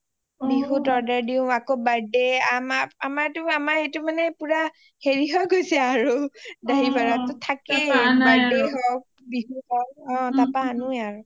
বিহুত order দিও আকৌ birthday আমাক আমাৰ সেইটো হেৰি হৈ গৈছে আৰু দাহি ভাদা টো থাকেই আৰু birthday হওঁক বিহু হওঁক অ তাৰপৰাই আনো এই আৰু